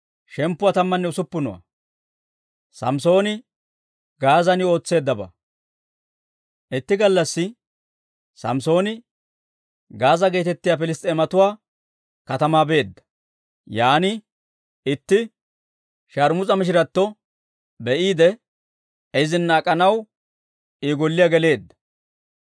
Itti gallassi Samssooni Gaaza geetettiyaa Piliss's'eematuwaa katamaa beedda; yaan itti sharmus'a mishiratto be'iide, izina ak'anaw I golliyaa geleedda.